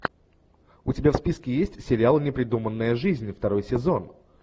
у тебя в списке есть сериал непридуманная жизнь второй сезон